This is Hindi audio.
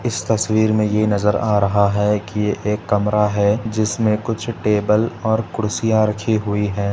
इस तस्वीर मे ये नज़र आ रहा है कि ये एक कमरा है जिसमे कुछ टेबल और कुर्सिया रखी हुई है।